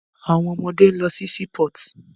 Êàê ó íàñ íåò íè÷åì íå íà÷èíàò.